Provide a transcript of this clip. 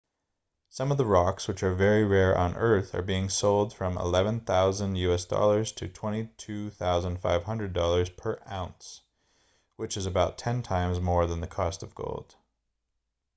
some of the rocks which are very rare on earth are being sold from us$11,000 to $22,500 per ounce which is about ten times more than the cost of gold